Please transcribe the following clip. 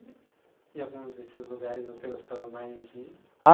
E em algum desses lugares você gostava mais de ir?